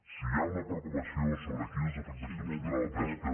si hi ha una preocupació sobre quines afectacions tindrà la pesca